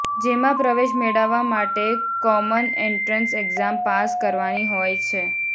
જેમાં પ્રવેશ મેળવવા માટે કોમન એન્ટ્રન્સ એક્ઝામ પાસ કરવાની હોય છે